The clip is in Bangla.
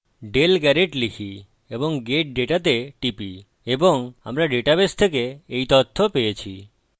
dale garrett লিখি এবং get data তে টিপি এবং আমরা ডাটাবেস থেকে এই তথ্য পেয়েছি